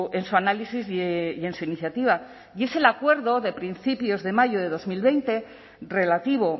en su análisis y en su iniciativa y es el acuerdo de principios de mayo de dos mil veinte relativo